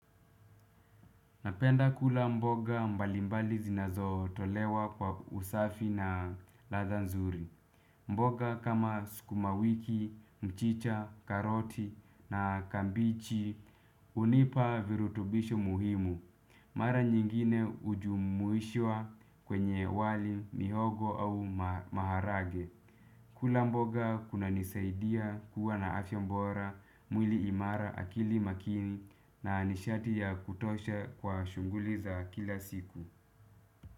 Napenda kula mboga mbalimbali zinazo tolewa kwa usafi na latha nzuri. Mboga kama sukuma wiki, mchicha, karoti na kambichi unipa virutubisho muhimu. Mara nyingine ujumuishwa kwenye wali mihogo au maharage. Kula mboga kuna nisaidia kuwa na afya mbora mwili imara akili makini na nishati ya kutosha kwa shunguli za kila siku.